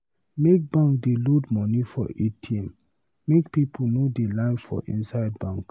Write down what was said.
Make bank dey load moni for ATM make pipu no dey line for inside bank.